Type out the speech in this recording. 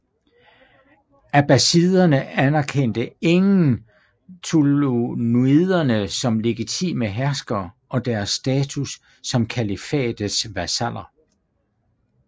Abbasiderne anerkendte igen ṭūlūniderne som legitime herskere og deres status som kalifatets vasaller